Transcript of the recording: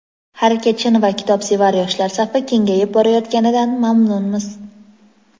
harakatchan va kitobsevar yoshlar safi kengayib borayotganidan mamnunmiz!.